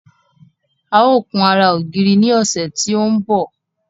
A ó kun ara ògiri ní ọ̀sẹ̀ tí ó ń bọ̀